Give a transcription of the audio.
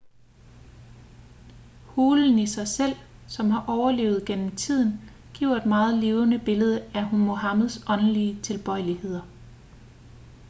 hulen i sig selv som har overlevet igennem tiden giver et meget levende billede af muhammeds åndelige tilbøjeligheder